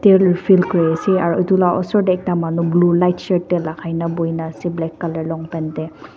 oil fill kuriase aro itu la osor tey ekta manu blue light shirt tey lagaina buhina ase black color longpant tey.